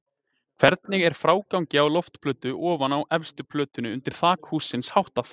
Hvernig er frágangi á loftplötu ofan á efstu plötunni undir þaki hússins háttað?